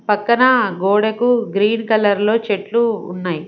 పక్కన గోడకు green colour లో చెట్లు ఉన్నాయి.